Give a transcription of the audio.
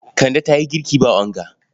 Kande ta yi girki ba onga.